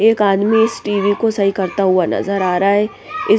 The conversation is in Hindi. एक आदमी इस टी_वी को सही करता हुआ नजर आ रहा हैं ।